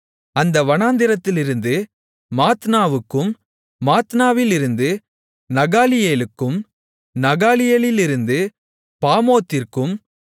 அந்த வனாந்திரத்திலிருந்து மாத்தனாவுக்கும் மாத்தனாவிலிருந்து நகாலியேலுக்கும் நகாலியேலிலிருந்து பாமோத்திற்கும்